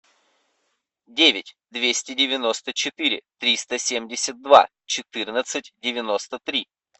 девять двести девяносто четыре триста семьдесят два четырнадцать девяносто три